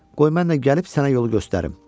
Qoy mən də gəlib sənə yolu göstərim.